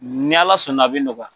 Ni Ala sɔnna a bɛ nɔgɔya.